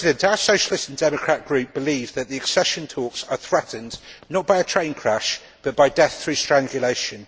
Our Socialist and Democrat Group believes that the accession talks are threatened, not by a train crash, but by death through strangulation.